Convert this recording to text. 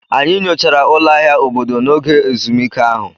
Anyị nyochara ụlọ ahịa obodo n'oge ezumike ahụ.